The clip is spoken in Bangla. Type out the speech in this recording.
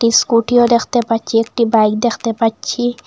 ইস্কুটিও দেখতে পাচ্ছি একটি বাইক দেখতে পাচ্ছি।